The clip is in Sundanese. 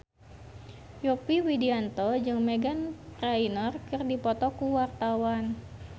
Yovie Widianto jeung Meghan Trainor keur dipoto ku wartawan